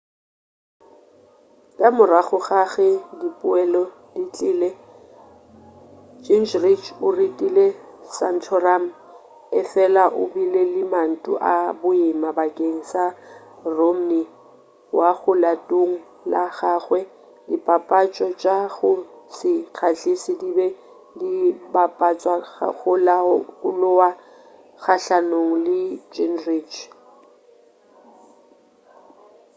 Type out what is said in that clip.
ka morago ga ge dipoelo ditlile gingrich o retile santorum efela o bile le mantu a boima bakeng sa romney wo legatong la gagwe dipapatšo tša go se kgahliše di be di bapatšwa go la lowa kgahlanong le gingrich